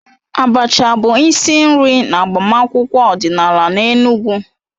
Abacha bụ isi nri n'agbamakwụkwọ ọdịnala n'Enugwu.